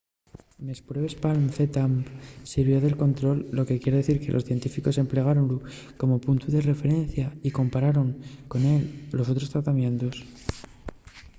nes pruebes palm zmapp sirvió de control lo que quier dicir que los científicos emplegáronlu como puntu de referencia y compararon con él los otros tratamientos